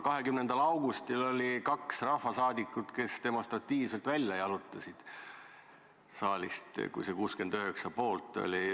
20. augustil 1991 – tookord saadi 69 poolthäält – oli kaks rahvasaadikut, kes hääletamise ajaks demonstratiivselt siit saalist välja jalutasid.